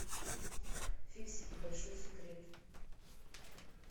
фиксики большой секрет